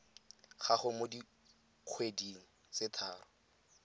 gago mo dikgweding tse tharo